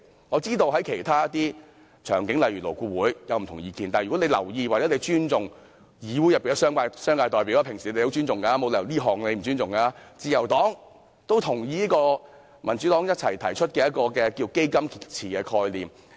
我知道其他方面，例如勞工顧問委員會，有不同意見，但如果局長留意或尊重議會內的商界代表——政府平時很尊重他們，沒理由這次不尊重他們——自由黨也認同這項民主黨共同提出的"基金池"概念。